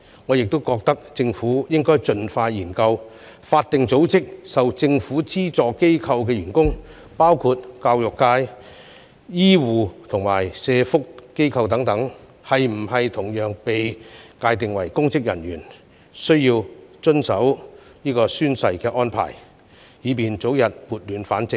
我認為政府應該盡快展開研究，將法定組織及受政府資助機構的員工，包括教育、醫護及社福機構的人員，同樣界定為須遵守宣誓安排的公職人員，以便早日撥亂反正。